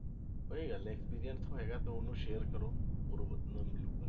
ਵਧਿਆ ਗੱਲ ਹੈ experience ਹੈਗਾ ਤਾਂ ਉਹਨੂੰ share ਕਰੋ ਹੋਰ ਨਾ ਮਿਲੇਗਾ,